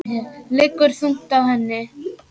Liggur þungt á henni.